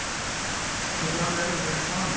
Þetta er alveg eðlilegt, sagði hann.